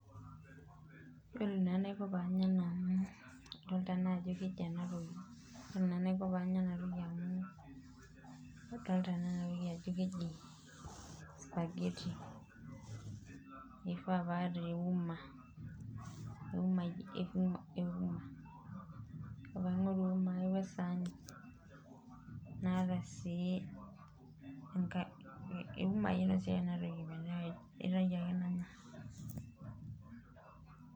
Yiolo naa enaiko pee anya enatoki amu yiolo naa ena naa keji spaghetti eifaa pee aata euma ,naingorui euma aai we saani, iumai noshiaa ake metaa akaitayu ake nanya .